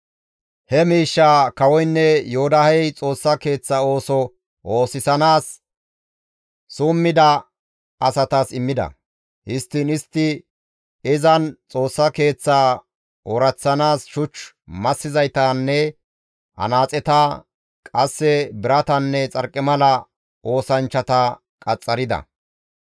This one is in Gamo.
He miishshaa kawoynne Yoodahey Xoossaa keeththa ooso oosisanaas summida asatas immida; histtiin istti izan Xoossa Keeththaa ooraththanaas shuch massizaytanne anaaxeta, qasse biratanne xarqimala oosanchchata qaxxarida.